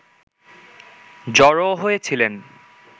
জড়ো হয়েছিলেন